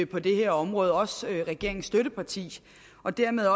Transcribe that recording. på det her område også regeringens støtteparti dermed